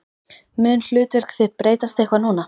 Mun hlutverk þitt breytast eitthvað núna?